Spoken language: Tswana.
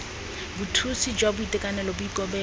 bothusi jwa boitekanelo bo ikobela